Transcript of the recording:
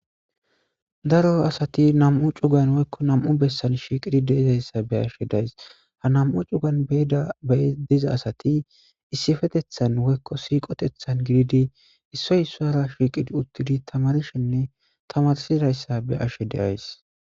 daro asati nam7u cugan woykko nam7u bessan shiiqidi deizayssa be ashshe days ha nam7u cugan beida be diza asati issifetethan woykko siiqotethan gididi issoy issora shiiqidi uttidi tamarshenne tamarsidayssa be ashshe deays